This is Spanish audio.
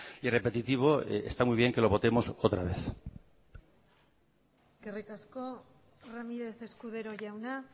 y repetitivo está muy bien que lo votemos otra vez eskerrik asko ramírez escudero jauna